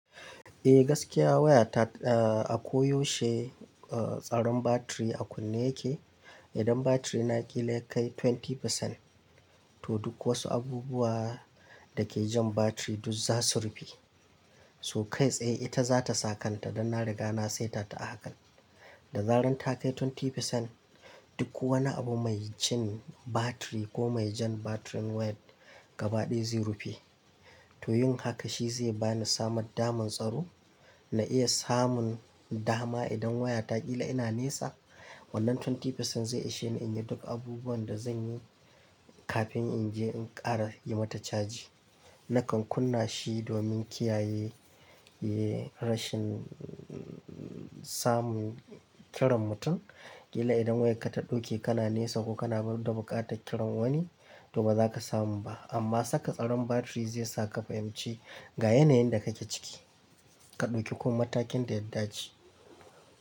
Eh gaskiya waya ta, a koyaushe tsaron batiri a kunne yake. Idan batiri na ƙila ya kai 20%, to duk wasu abubuwa da ke jan batir duk za su rufe. To kai tsaye ita za ta sa kanta dan na riga na saita ta a hakan. Da zarar ta kai 20%, duk wani abu mai cin batiri ko mai jan batirin wayar gaba ɗaya zai rufe. To yin haka shi zai bani samar damar tsaro, na iya samun dama idan waya ta ƙila ina nesa, wannan 20% zai ishe ni in yi duk abubuwan da zan yi kafin in je in ƙara yi mata caji. Nakan kunna shi domin kiyaye rashin samun kiran mutum. Ƙila idan wayarka ta ɗauke kana nesa ko kana da buƙatar kiran wani to ba za ka samu ba. Amma saka tsaron batiri zai sa ka fahimci ga yanayin da kake ciki. Ka ɗauki kuma matakin da ya dace.